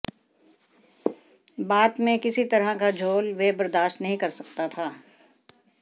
बात में किसी तरह का झाेल वह बर्दाश्त नहीं कर सकता था